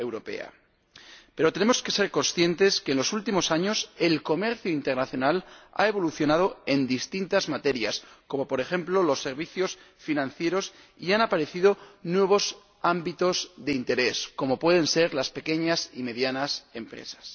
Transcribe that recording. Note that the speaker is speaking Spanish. Pero tenemos que ser conscientes de que en los últimos años el comercio internacional ha evolucionado en distintas materias, como por ejemplo los servicios financieros, y han aparecido nuevos ámbitos de interés, como pueden ser las pequeñas y medianas empresas.